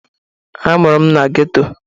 A mụrụ m na geto.